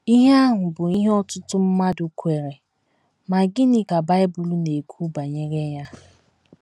Ihe a bụ ihe ọtụtụ mmadụ kweere, ma gịnị ka Bible na - ekwu banyere ya?